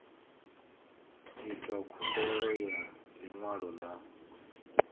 itwa khumbelo ya ḽiṅwalo ḽa